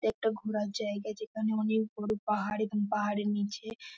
একটা ঘোরার জায়গা যেখানে অনেক বড় পাহাড় এবং পাহাড়ের নীচে ।